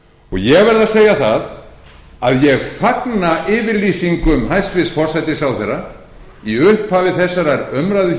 ég verð að segja það að ég fagna yfirlýsingum hæstvirtur forsætisráðherra í upphafi þessarar umræðu í